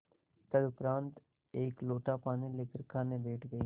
तदुपरांत एक लोटा पानी लेकर खाने बैठ गई